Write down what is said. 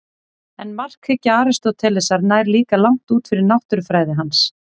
En markhyggja Aristótelesar nær líka langt út fyrir náttúrufræði hans.